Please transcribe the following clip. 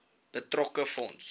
betrokke fonds